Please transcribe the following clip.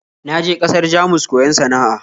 Na je ƙasar Jamus koyon sana'a